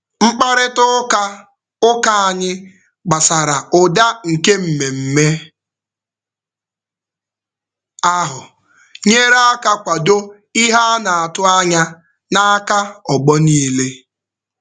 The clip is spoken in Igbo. Mkparịtaụka ụka anyị gbasara ụda nke mmemme ahụ nyere aka kwado ihe a na-atụ anya n'aka ọgbọ niile.